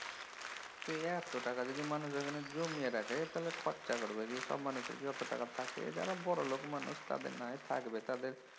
ত এত টাকা যদি মানুষ এখানে জমিয়ে রাখে তাহলে খরচা করবে কি সব মানুষের কি অত টাকা থাকে? যারা বড়োলোক মানুষ তাদের নাহয় থাকবে